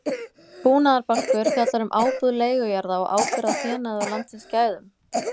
Búnaðarbálkur fjallar um ábúð leigujarða og ábyrgð á fénaði og landsins gæðum.